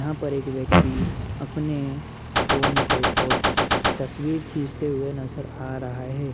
यहाँ पर एक व्यक्ति अपने फोन से फोट-तस्वीर खीचते हुए नजर आ रहा है।